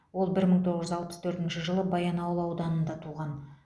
ол бір мың тоғыз жүз алпыс төртінші жылы баянауыл ауданында туған